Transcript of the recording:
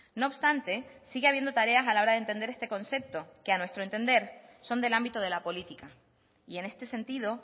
no obstante sigue habiendo tareas a la hora de entender este concepto que a nuestro entender son del ámbito de la política y en este sentido